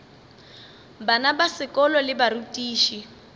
bana ba sekolo le barutiši